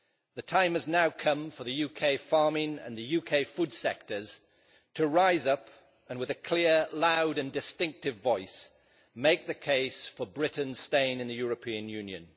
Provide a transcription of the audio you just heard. The time has now come for the UK farming and food sectors to rise up and, with a clear, loud and distinctive voice, make the case for Britain staying in the European Union.